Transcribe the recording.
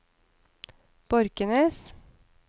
Borkenes